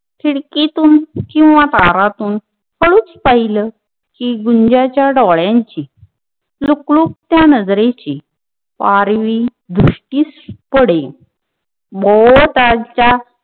भौतालाच्या खीडकीतून कीव्ह तारातून हळूच पहिला कि गुन्जांचा डोळ्यांची लुक लुकत्यात नजरेंची पारवी दृष्टीस पडेल.